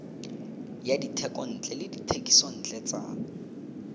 ya dithekontle le dithekisontle tsa